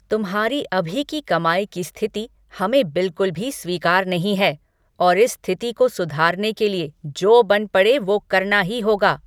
तुम्हारी अभी की कमाई की स्थिति हमें बिल्कुल भी स्वीकार नहीं हैं और इस स्थिति को सुधारने के लिए जो बन पड़े वो करना ही होगा।